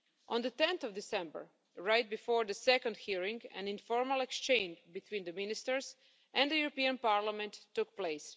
On 10 December, right before the second hearing, an informal exchange between the ministers and the European Parliament took place.